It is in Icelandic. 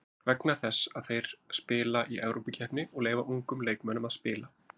Vegna þess að þeir spila í Evrópukeppni og leyfa ungum leikmönnum að spila.